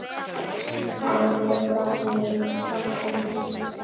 Hann gleymdi glasinu handa mér.